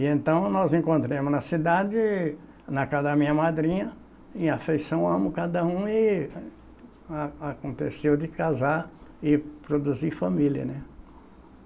E então nós nos encontramos na cidade, na casa da minha madrinha, e afeiçoamos cada um, e a aconteceu de casar e produzir família, né?